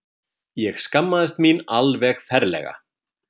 Ég skammaðist mín alveg ferlega.